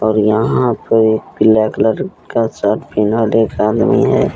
और यहां पर एक ब्लैक कलर का शर्ट पहनल एक आदमी है।